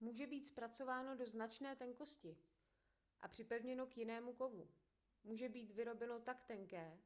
může být zpracováno do značné tenkosti a připevněno k jinému kovu může být vyrobeno tak tenké